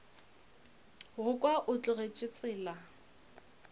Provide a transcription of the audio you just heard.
go kwa o tlogetše tsela